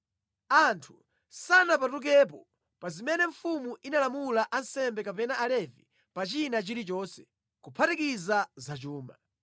Anthu sanapatukepo pa zimene mfumu inalamula ansembe kapena Alevi pa china chilichonse, kuphatikiza za chuma.